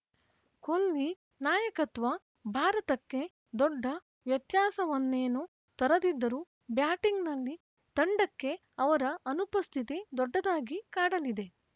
ಕೊಹ್ಲಿ ನಾಯಕತ್ವ ಭಾರತಕ್ಕೆ ದೊಡ್ಡ ವ್ಯತ್ಯಾಸವನ್ನೇನೂ ತರದಿದ್ದರೂ ಬ್ಯಾಟಿಂಗ್‌ನಲ್ಲಿ ತಂಡಕ್ಕೆ ಅವರ ಅನುಪಸ್ಥಿತಿ ದೊಡ್ಡದಾಗಿ ಕಾಡಲಿದೆ